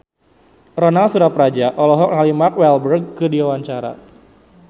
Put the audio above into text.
Ronal Surapradja olohok ningali Mark Walberg keur diwawancara